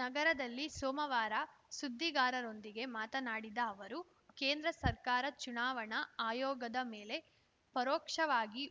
ನಗರದಲ್ಲಿ ಸೋಮವಾರ ಸುದ್ದಿಗಾರರೊಂದಿಗೆ ಮಾತನಾಡಿದ ಅವರು ಕೇಂದ್ರ ಸರ್ಕಾರ ಚುನಾವಣಾ ಆಯೋಗದ ಮೇಲೆ ಪರೋಕ್ಷವಾಗಿ